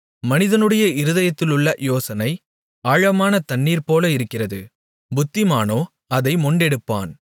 மனிதனுடைய இருதயத்திலுள்ள யோசனை ஆழமான தண்ணீர்போல இருக்கிறது புத்திமானோ அதை மொண்டெடுப்பான்